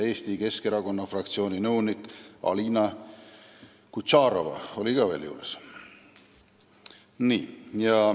Eesti Keskerakonna fraktsiooni nõunik Alina Kutšerova oli ka veel seal juures.